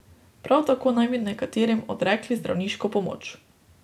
Prav tako naj bi nekaterim odrekli zdravniško pomoč.